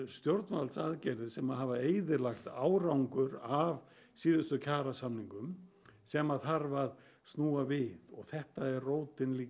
stjórnvaldsaðgerðir sem hafa eyðilagt árangur af síðustu kjarasamningum sem þarf að snúa við þetta er rótin